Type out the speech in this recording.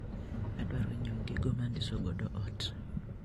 Adwaro nyiewo gigo ma andiso godo ot.